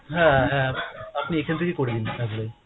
হ্যাঁ হ্যাঁ আপনি এইখান থেকেই করে দিন apply।